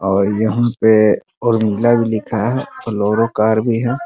और यहाँ पे उर्मिला भी लिखा है बोलेरो कार भी है।